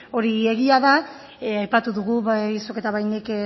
hori egia da aipatu dugu bai zuk eta bai nik